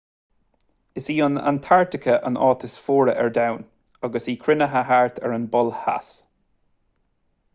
is í antartaice an áit is fuaire ar domhan agus í cruinnithe thart ar an bpol theas